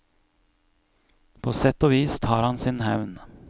På sett og vis tar han sin hevn.